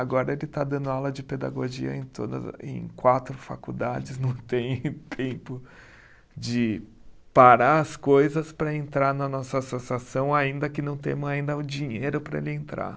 Agora ele está dando aula de pedagogia em todas a, em quatro faculdades, não tem tempo de parar as coisas para entrar na nossa associação, ainda que não temos ainda o dinheiro para ele entrar.